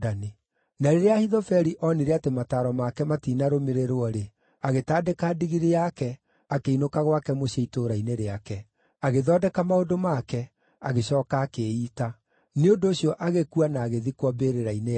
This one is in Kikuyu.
Na rĩrĩa Ahithofeli onire atĩ mataaro make matiinarũmĩrĩrĩrwo-rĩ, agĩtandĩka ndigiri yake, akĩinũka gwake mũciĩ itũũra-inĩ rĩake. Agĩthondeka maũndũ make, agĩcooka akĩĩita. Nĩ ũndũ ũcio agĩkua na agĩthikwo mbĩrĩra-inĩ ya ithe.